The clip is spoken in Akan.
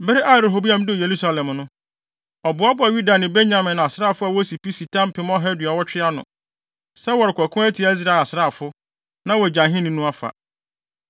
Bere a Rehoboam duu Yerusalem no, ɔboaboaa Yuda ne Benyamin asraafo a wosi pi si ta mpem ɔha aduɔwɔtwe ano, sɛ wɔrekɔko atia Israel asraafo, na wɔagye ahenni no afa.